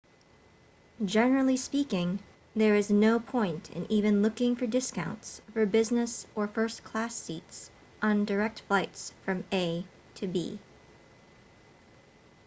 generally speaking there is no point in even looking for discounts for business or first-class seats on direct flights from a to b